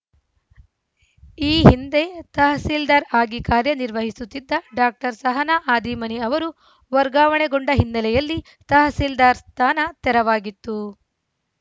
ಈ ಹಿಂದೆ ತಹಸೀಲ್ದಾರ್‌ ಆಗಿ ಕಾರ್ಯನಿರ್ವಹಿಸುತ್ತಿದ್ದ ಡಾಕ್ಟರ್ ಸಹನಾ ಹಾದಿಮನಿ ಅವರು ವರ್ಗಾವಣೆಗೊಂಡ ಹಿನ್ನೆಲೆಯಲ್ಲಿ ತಹಸೀಲ್ದಾರ್‌ ಸ್ಥಾನ ತೆರವಾಗಿತ್ತು